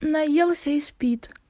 наелся и спит